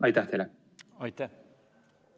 Aitäh!